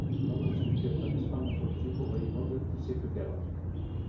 Norðausturkjördæmi spannar frá Djúpavogi norður til Siglufjarðar.